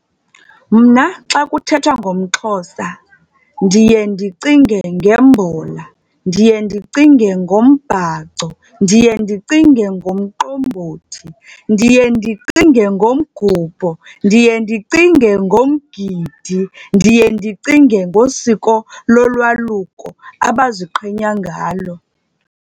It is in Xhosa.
Mna xa kuthethwa ngomXhosa ndiye ndicinge ngembhola, ndiye ndicinge ngombhaco, ndiye ndicinge ngomqombothi, ndiye ndicinge ngomgubho, ndiye ndicinge ngomgidi, ndiye ndicinge ngosiko lolwaluko abaziqenya ngalo.